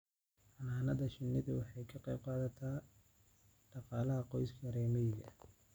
Xannaanada shinnidu waxay ka qayb qaadataa dhaqaalaha qoysaska reer miyiga ah.